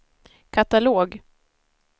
katalog